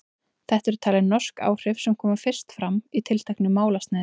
Þetta eru talin norsk áhrif sem komu fyrst fram í tilteknu málsniði.